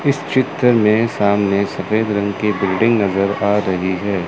इस चित्र मे सामने सफेद रंग की बिल्डिंग नज़र आ रही है।